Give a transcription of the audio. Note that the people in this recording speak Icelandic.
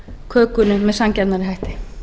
kökunni með sanngjarnari hætti